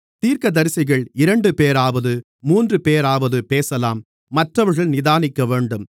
தீர்க்கதரிசிகள் இரண்டுபேராவது மூன்றுபேராவது பேசலாம் மற்றவர்கள் நிதானிக்கவேண்டும்